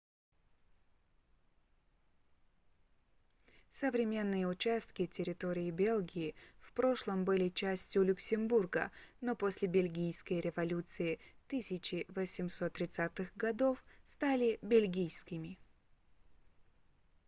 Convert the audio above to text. современные участки территории бельгии в прошлом были частью люксембурга но после бельгийской революции 1830-х годов стали бельгийскими